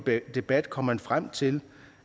debat kom man frem til